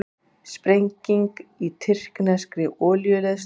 Sprenging í tyrkneskri olíuleiðslu